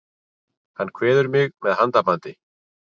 Hann kveður mig með handabandi.